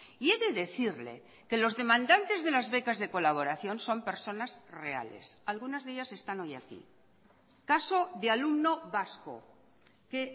y he de decirle que los demandantes de las becas de colaboración son personas reales algunas de ellas están hoy aquí caso de alumno vasco que